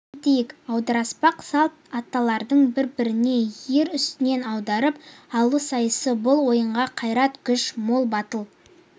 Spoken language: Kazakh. айта кетейік аударыспақ салт аттылардың бірін-бірі ер үстінен аударып алу сайысы бұл ойынға қайрат-күші мол батыл